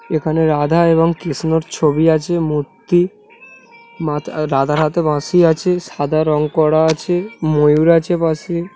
এখানে রাধা এবং কৃষ্ণর ছবি আছে মূর্তি মাতা-- রাধার হাতে বাঁশি আছে সাদা রং করা আছে ময়ূর আছে পাশে।